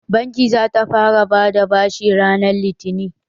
Bankin za ta fara bada bashi ranar litinin.